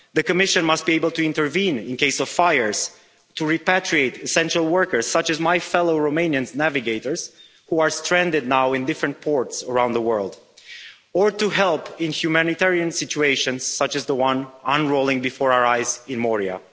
The Commission must be able to intervene in the case of fires, to repatriate essential workers, such as my fellow Romanian navigators who are stranded in different ports around the world, or to help in humanitarian situations, such as the one unrolling before our eyes in Moria.